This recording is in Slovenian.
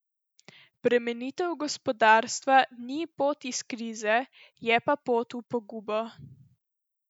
Bremenitev gospodarstva ni pot iz krize, je pa pot v pogubo.